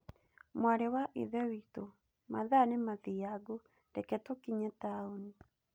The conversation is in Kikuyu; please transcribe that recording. Mwarĩ wa ithe witũ, mathaa nĩ mathiangu, reke tũkinye taũni.